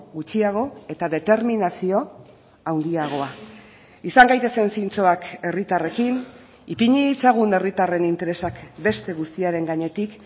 gutxiago eta determinazio handiagoa izan gaitezen zintzoak herritarrekin ipini ditzagun herritarren interesak beste guztiaren gainetik